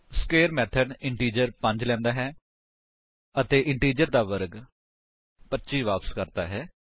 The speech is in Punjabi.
ਸਕਵੇਰ ਮੇਥਡ ਇੰਟਿਜਰ 5 ਲੈਂਦਾ ਹੈ ਅਤੇ ਇੰਟਿਜਰ ਦਾ ਵਰਗ 25 ਵਾਪਸ ਕਰਦਾ ਹੈ